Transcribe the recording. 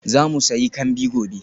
Za mu sayi kambi gobe.